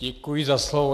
Děkuji za slovo.